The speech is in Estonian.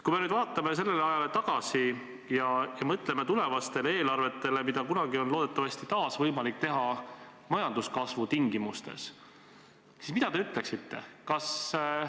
Kui me nüüd vaatame sellele ajale tagasi ja mõtleme tulevastele eelarvetele, mida kunagi on loodetavasti taas võimalik teha majanduskasvu tingimustes, siis mida te ütleksite?